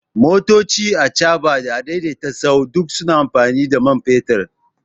Motoci, achaɓa da a daidaita sahu duk suna amfani da man fetur